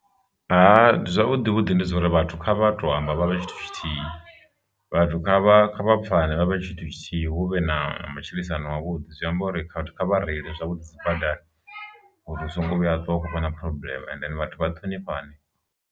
Zwavhuḓi vhuḓi ndi dza uri vhathu kha vha to amba vha vha tshithu tshithihi, vhathu kha vha pfane vhavhe tshithu tshithihi huvhe na matshilisano a vhuḓi, zwi amba uri khathihi kha vhareile zwavhuḓi dzi badani uri hu songo vhuya ha ṱuwa u khou vha na phurobuḽeme and vhathu vha ṱhonifhane.